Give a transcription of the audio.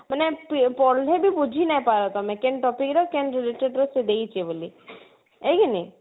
ମାନେ ପଢଲେ ବି ବୁଝି ନାଇପାର ତମେ କେନ topic ର କେନ related ର ସେ ଦେଇଛି ବୋଲି ଏଇଖିନି